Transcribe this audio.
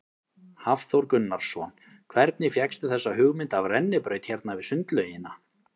Hafþór Gunnarsson: Hvernig fékkstu þessa hugmynd af rennibraut hérna við sundlaugina?